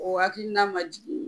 O hakilina ma jigin